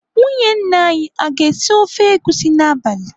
Nwunye nna anyị aga esi ofe egusi n'abalị?